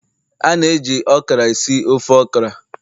a na-eji okra esi ofe okra